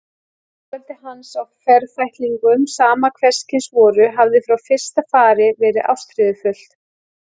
Dálæti hans á ferfætlingum, sama hverskyns voru, hafði frá fyrsta fari verið ástríðufullt.